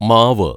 മാവ്